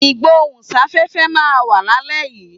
Ìgbóhùn sáfẹ́fẹ́ máa wà lálẹ́ yìí.